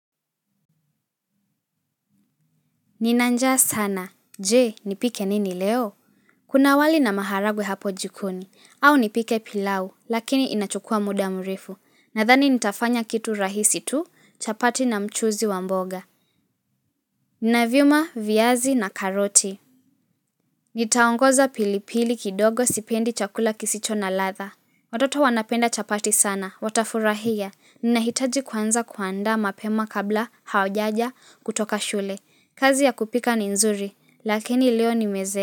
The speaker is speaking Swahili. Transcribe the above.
Nina njaa sana, je nipike nini leo? Kuna wali na maharagwe hapo jikoni, au nipike pilau, lakini inachukua muda mrefu, nadhani nitafanya kitu rahisi tu chapati na mchuzi wa mboga. Navyuma, viyazi na karoti. Nitaongoza pilipili kidogo sipendi chakula kisicho na ladha. Watoto wanapenda chapati sana, watafurahia, ninahitaji kwanza kuandaa mapema kabla hawajaja kutoka shule. Kazi ya kupika ni nzuri, lakini leo nimeze.